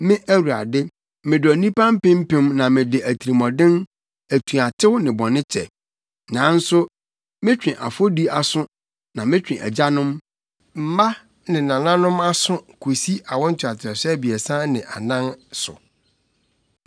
me Awurade, medɔ nnipa mpempem na mede atirimɔden, atuatew ne bɔne kyɛ. Nanso metwe afɔdi aso na metwe Agyanom, mma ne nananom aso kosi awo ntoatoaso abiɛsa ne anan aso.”